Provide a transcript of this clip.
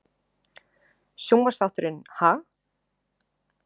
Sjónvarpsþátturinn Ha?